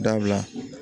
Dabila